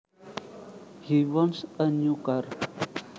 He wants a new car